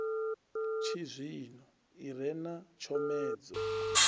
tshizwino i re na tshomedzo